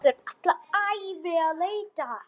Verður alla ævi að leita.